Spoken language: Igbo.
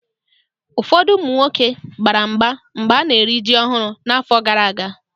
Ụfọdụ ụmụ nwoke gbara mgba mgbe ana-eri ji ọhụụ n'afọ gara aga.